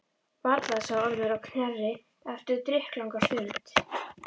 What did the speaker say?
Varla, sagði Ormur á Knerri eftir drykklanga stund.